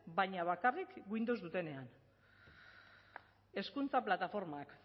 baina bakarrik windows dutenean hezkuntza plataformak